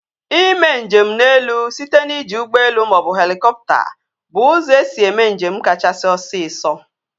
Ime njem n'elu site n'iji ụgbọelu maọbụ helikọpta bụ ụzọ esi eme njem kachasị osisọ